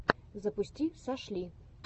запусти сашли